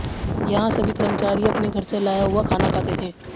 यहां सभी कर्मचारी अपने घर से लाया हुआ खाना खाते थे